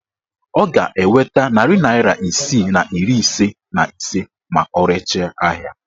Ọ ga-enweta narị naịra isii na iri ise na ise ma o rechaa ahịa